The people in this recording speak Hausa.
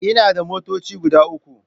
Ina da motoci guda uku.